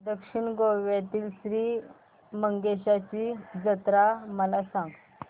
दक्षिण गोव्यातील श्री मंगेशाची जत्रा मला सांग